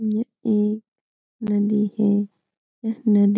यह एक नदी है । यह नदी --